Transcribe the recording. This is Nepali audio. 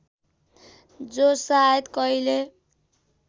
जो सायद कहिले